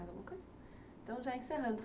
Mais alguma coisa? então já encerrando